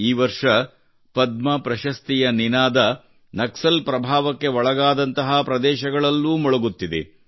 ಈ ವರ್ಷ ಪದ್ಮ ಪ್ರಶಸ್ತಿಯ ನಿನಾದ ನಕ್ಸಲ್ ಪ್ರಭಾವಕ್ಕೆ ಒಳಗಾದಂತಹ ಪ್ರದೇಶಗಳಲ್ಲೂ ಮೊಳಗುತ್ತಿದೆ